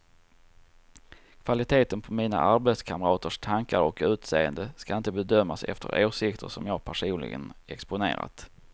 Kvaliteten på mina arbetskamraters tankar och utseende ska inte bedömas efter åsikter som jag personligen exponerat.